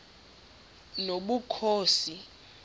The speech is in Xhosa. nobukhosi